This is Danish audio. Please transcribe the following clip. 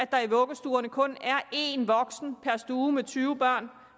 der i vuggestuerne kun er en voksen per stue med tyve børn